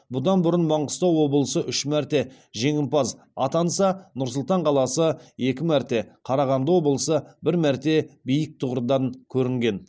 бұдан бұрын маңғыстау облысы үш мәрте жеңімпаз атанса нұр сұлтан қаласы екі мәрте қарағанды облысы бір мәрте биік тұғырдан көрінген